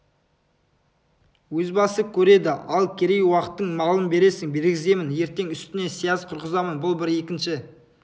өз басы көреді ал керей уақтың малын бересің бергіземін ертең үстіңе сияз құрғызамын бұл бір екінші